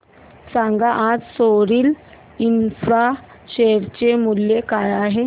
सांगा आज Soril infra share चे मूल्य काय आहे